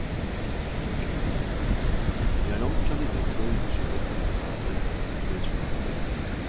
Jeg er langtfra villig til å unnskylde politikerne på et slikt grunnlag.